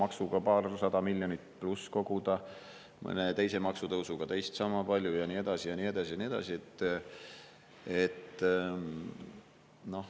Automaksuga paarsada miljonit pluss koguda, mõne teise maksutõusuga teist sama palju ja nii edasi ja nii edasi ja nii edasi.